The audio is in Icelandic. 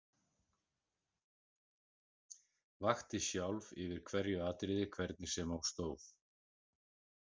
Vakti sjálf yfir hverju atriði hvernig sem á stóð.